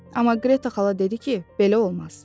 Amma Qreta xala dedi ki, belə olmaz.